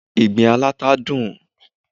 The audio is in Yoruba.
Ìgbín aláta dùn